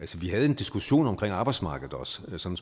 vi havde en diskussion om arbejdsmarkedet også sådan som